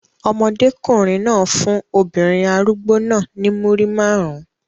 Ọmọdékùnrin náà fún obìnrin arúgbó náà ní Múrí márùn-ún.